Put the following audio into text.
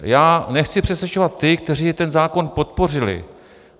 Já nechci přesvědčovat ty, kteří ten zákon podpořili.